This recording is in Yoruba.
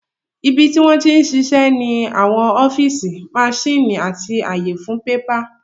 Ibi tí wọ́n ti ń ṣiṣẹ́ ní àwọn ọ́fíìsì, maṣíìnì àti ààyè fún bébà